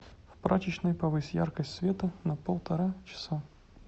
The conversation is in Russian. в прачечной повысь яркость света на полтора часа